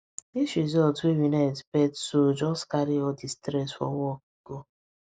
this result wey we no expect so just carry all the stress for work go